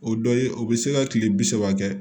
O dɔ ye o bɛ se ka kile bi saba kɛ